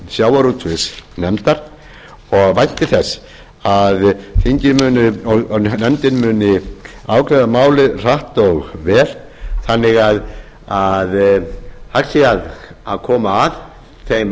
sjávarútvegs og landbúnaðarnefndar og vænti þess að nefndin og þingið muni afgreiða málið hratt og vel þannig að hægt sé að koma að þeim